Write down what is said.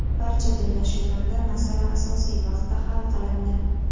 Barcha bellashuvlarda masala asosiy vaqtda hal qilindi.